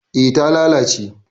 eh ta lalace ne